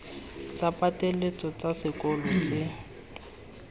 tsa pateletso tsa sekolo tse